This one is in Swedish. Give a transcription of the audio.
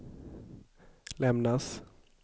lämnas